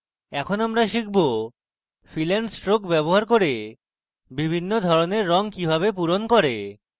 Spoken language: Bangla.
এখন আমরা শিখব fill and stroke ব্যবহার করে বিভিন্ন ধরনের রং কিভাবে পূরণ করে